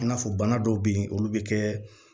I n'a fɔ bana dɔw bɛ yen olu bɛ kɛ